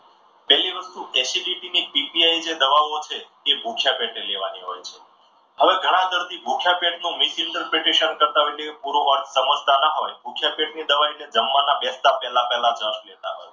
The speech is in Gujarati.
પેલી વસ્તુ acidity ની જે દવાઓ છે એ ભૂખ્યા પેટે લેવાની હોય છે. હવે ઘણા દર્દીઓ ભૂખ્યાપેટ નો misinterpretation કરતા હોય પૂરો અર્થ સમજતા નો હોય ભૂખ્યા પેટની દવા જમવાના બેસતા પહેલા પહેલા લેતા હોય છે.